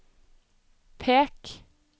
pek